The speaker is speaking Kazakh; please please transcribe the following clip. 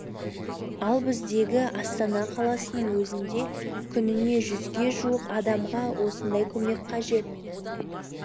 ал біздегі астана қаласының өзінде күніне жүзге жуық адамға осындай көмек қажет